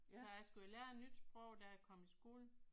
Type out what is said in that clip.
Så jeg skulle jo lære et nyt sprog da jeg kom i skole